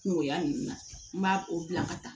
Kungoya ninnu na n b'a o bila ka taa